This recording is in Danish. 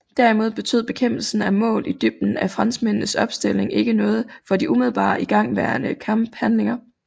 Derimod betød bekæmpelsen af mål i dybden af franskmændenes opstilling ikke noget for de umiddelbare igangværende kamphandlinger